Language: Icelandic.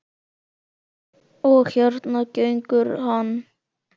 Og hérna gengur hann.